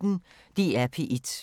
DR P1